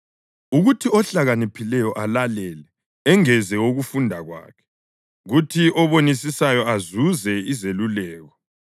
ukuthi ohlakaniphileyo alalele engeze ukufunda kwakhe, kuthi obonisisayo azuze izeluleko,